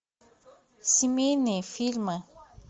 семейные фильмы